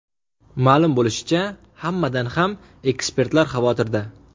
Ma’lum bo‘lishicha, hammadan ham ekspertlar xavotirda.